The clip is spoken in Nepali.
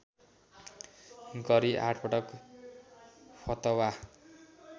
गरी आठपटक फतवा